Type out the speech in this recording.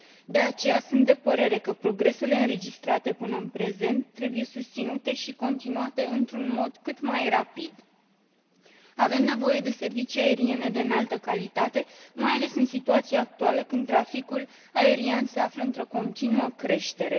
de aceea sunt de părere că progresele înregistrate până în prezent trebuie susținute și continuate într un mod cât mai rapid. Avem nevoie de servicii aeriene de înaltă calitate, mai ales în situația actuală, când traficul aerian se află într o continuă creștere.